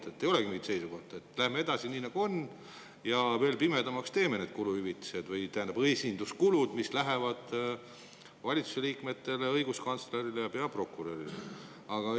ei olegi mingit seisukohta – läheme edasi nii, nagu on, ja teeme selle valitsuse liikmete, õiguskantsleri ja peaprokuröri esinduskulude veel pimedamaks.